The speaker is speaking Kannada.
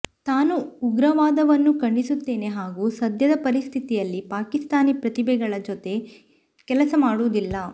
ತಾನು ಉಗ್ರವಾದವನ್ನು ಖಂಡಿಸುತ್ತೇನೆ ಹಾಗೂ ಸದ್ಯದ ಪರಿಸ್ಥಿತಿಯಲ್ಲಿ ಪಾಕಿಸ್ತಾನಿ ಪ್ರತಿಭೆಗಳ ಜತೆ ಕೆಲಸ ಮಾಡುವುದಿಲ್ಲ